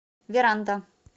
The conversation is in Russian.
веранда